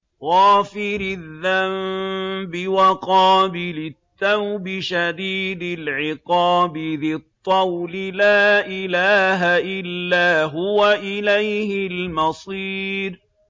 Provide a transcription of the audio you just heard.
غَافِرِ الذَّنبِ وَقَابِلِ التَّوْبِ شَدِيدِ الْعِقَابِ ذِي الطَّوْلِ ۖ لَا إِلَٰهَ إِلَّا هُوَ ۖ إِلَيْهِ الْمَصِيرُ